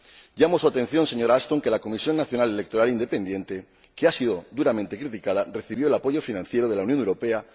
Señalo a su atención, señora Ashton, el hecho de que la Comisión Nacional Electoral Independiente, que ha sido duramente criticada, recibió el apoyo financiero de la Unión Europea.